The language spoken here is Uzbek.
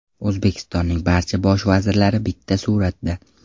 O‘zbekistonning barcha bosh vazirlari bitta suratda.